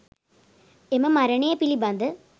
එම මරණය පිළිබඳ